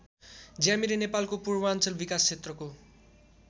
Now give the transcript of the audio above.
ज्यामिरे नेपालको पूर्वाञ्चल विकास क्षेत्रको